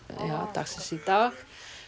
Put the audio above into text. dagsins í dag